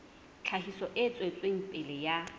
tlhahiso e tswetseng pele ya